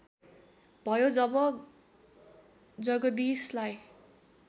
भयो जब जगदीशलाई